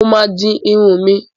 Mo máa di irun mi.